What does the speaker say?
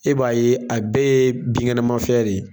E b'a ye a bɛɛ ye binkɛnɛmafɛn de ye